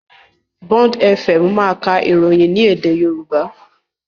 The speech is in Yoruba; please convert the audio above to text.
Bond Fm máa ka ìròyìn ní èdè Yorùbá.